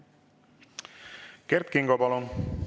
Kert Kingo, palun!